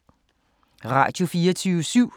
Radio24syv